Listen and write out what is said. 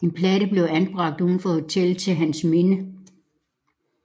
En platte blev anbragt uden for hotellet til hans minde